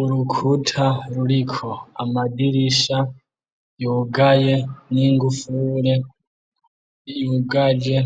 Urukuta ruriko amadirisha yugaye n'ingufure, yugaje